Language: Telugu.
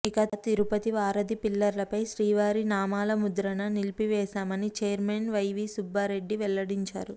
ఇక తిరుపతి వారధి పిల్లర్లపై శ్రీవారి నామాల ముద్రణ నిలిపివేశామని ఛైర్మెన్ వైవీ సుబ్బారెడ్డి వెల్లడించారు